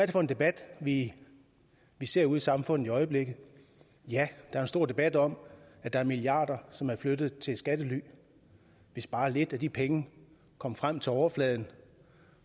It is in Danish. det for en debat vi vi ser ude i samfundet i øjeblikket ja der er stor debat om at der er milliarder som er blevet flyttet til et skattely hvis bare lidt af de penge kom frem til overfladen